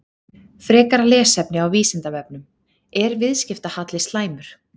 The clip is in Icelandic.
Frekara lesefni á Vísindavefnum: Er viðskiptahalli slæmur?